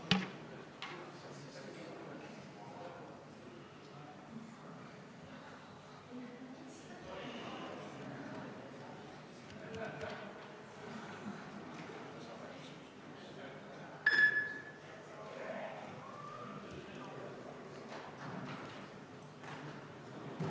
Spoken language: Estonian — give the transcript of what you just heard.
Hääletustulemused Head kolleegid, ettepaneku poolt hääletas 28 Riigikogu liiget, vastu oli 25, erapooletuks jäi 1.